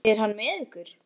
Er hann með ykkur?